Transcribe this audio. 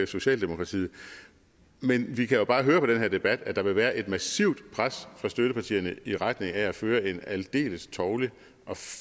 socialdemokratiet men vi kan jo bare høre på den her debat at der vil være et massivt pres fra støttepartierne i retning af at føre en aldeles tovlig og